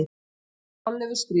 Þorleifur skrifar: